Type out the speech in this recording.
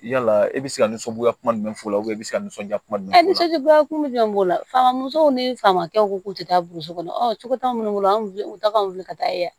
Yala e bɛ se ka nisɔndiya kuma min fɔ i bɛ se ka nisɔndiya kuma jumɛn fɔ i nisɔndiya kuma jumɛn b'o la faama musow ni famakɛw k'u tɛ taa burusi kɔnɔ ɔ cogo t'an minnu bolo an weele u ta kan wuli ka taa ye wa